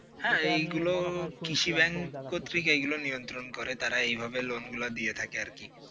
হ্যাঁ এইগুলো কৃষি ব্যাংক ক্ষেত্রে এগুলো নিয়ন্ত্রণ করে তারা এইভাবে লোন দিয়ে থাকে আর কি